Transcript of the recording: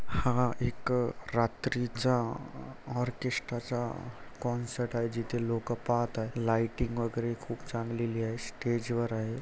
हा एक रात्रीचा ओरकेस्ट्राचा कॉन्सर्ट आहे जिथे लोक पाहत आहे लाईटिंग वगैरे खूप चांगलेली आहे स्टेजवर आहे.